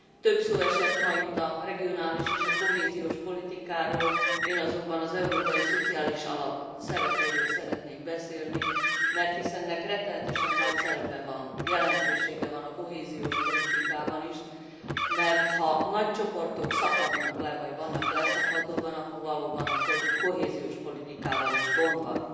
Több szó esett ma itt a regionális és a kohéziós politikáról, én azonban az Európai Szociális Alap szerepéről szeretnék beszélni, mert hiszen ennek rettenetesen nagy szerepe van, jelentősége van a kohéziós politikában is, mert ha nagy csoportok szakadnak le vagy vannak leszakadóban, akkor valóban a kohéziós politikával is gond van.